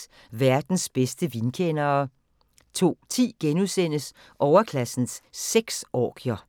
00:40: Verdens bedste vinkendere * 02:10: Overklassens sexorgier *